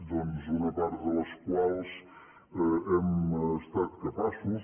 doncs una part de les quals hem estat capaços